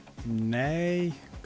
nei